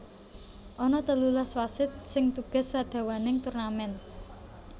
Ana telulas wasit sing tugas sadawaning turnamen